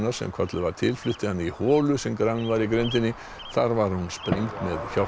sem kölluð var til flutti hana í holu sem grafin var í grenndinni þar var hún sprengd með hjálp